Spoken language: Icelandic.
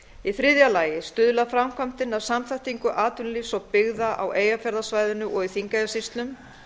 í þriðja lagi stuðlar framkvæmdin að samþættingu atvinnulífs og byggða á eyjafjarðarsvæðinu og í þingeyjarsýslum